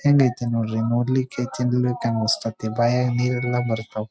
ಹೆಂಗ್ ಐತೆ ನೋಡ್ರಿ ನೋಡ್ಲಿಕ್ಕೆ ಚನಗೈತೇ ಅನಿಸ್ತತ್ತಿ ಬಾಯಾಗ್ ನೀರ್ ಎಲ್ಲಾ ಬರ್ತಾವ್.